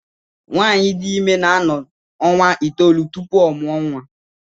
Nwaanyị dị ime na-anọ ọnwa itoolu tupu ọ mụọ nwa.